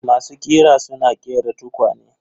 Masu ƙira suna ƙera tukwane.